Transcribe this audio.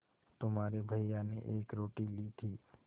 तुम्हारे भैया ने एक रोटी ली थी